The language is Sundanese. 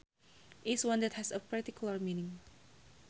is one that has a particular meaning